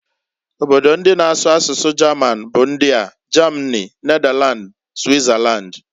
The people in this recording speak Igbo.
Obodo ndi na asụ asụsụ German bu ndiaː Germany, Netherland, Switzerland.